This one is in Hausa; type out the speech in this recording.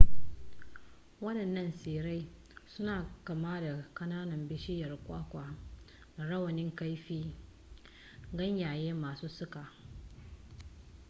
wadannan tsirrai suna kama da kananan bishiyar kwakwa da rawanin kaifi ganyaye masu suka